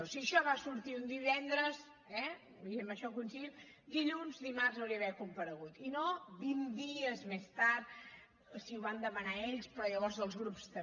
si això va sortir un divendres eh i en això coincidim dilluns dimarts hauria d’haver comparegut i no vint dies més tard sí ho van demanar ells però llavors els grups també